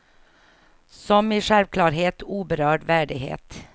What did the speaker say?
Som i självklarhet, oberörd värdighet.